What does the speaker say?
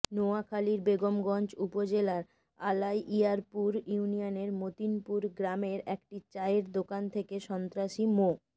নোয়াখালীর বেগমগঞ্জ উপজেলার আলাইয়ারপুর ইউনিয়নের মতিনপুর গ্রামের একটি চায়ের দোকান থেকে সন্ত্রাসী মো